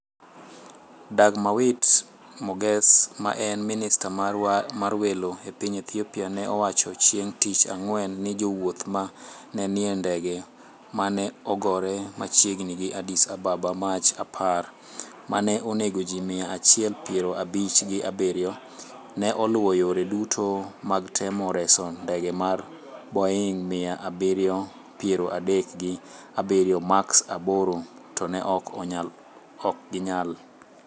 Dagmawit Moges ma en Minista mar Welo e piny Ethiopia ne owacho chieng' Tich Ang'wen ni jowuoth ma ne nie ndege ma ne ogore machiegni gi Addis Ababa Mach apar, ma ne onego ji mia achiel piaro abich gi abiriyo, ne oluwo yore duto mag temo reso ndege mar Boeing mia abirio piero adek gi abiriyo Max aboro, to ne ok ginyal.